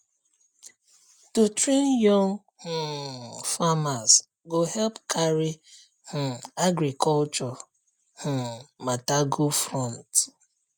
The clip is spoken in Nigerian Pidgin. to train young um farmers go help carry um agriculture um matter go front